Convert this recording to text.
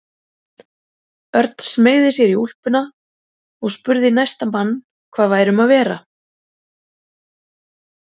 Örn smeygði sér úr úlpunni og spurði næsta mann hvað væri um að vera.